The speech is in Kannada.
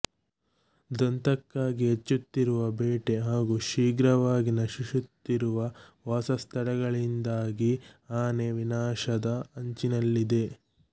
ದಂತಕ್ಕಾಗಿ ಹೆಚ್ಚುತ್ತಿರುವ ಬೇಟೆ ಹಾಗೂ ಶೀಘ್ರವಾಗಿ ನಶಿಸುತ್ತಿರುವ ವಾಸಸ್ಥಳಗಳಿಂದಾಗಿ ಆನೆ ವಿನಾಶದ ಅಂಚಿನಲ್ಲಿದೆ